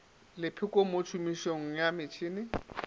lepheko mo tšhomišong ya metšhene